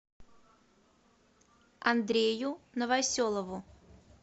андрею новоселову